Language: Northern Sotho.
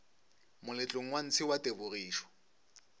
moletlong wa ntshe wa tebogišo